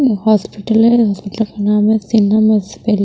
hospital है hospital का नाम है सिंहम हॉस्पिटल --